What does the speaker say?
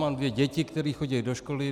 Mám dvě děti, které chodí do školy.